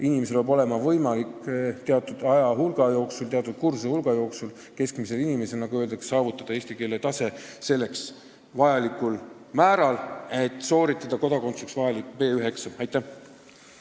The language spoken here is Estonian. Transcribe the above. Keskmisel inimesel, nagu öeldakse, peab olema võimalik teatud aja jooksul, kursuste hulga jooksul saavutada selline eesti keele tase, et sooritada kodakondsuse saamiseks vajalik B1-eksam.